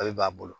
A bɛ b'a bolo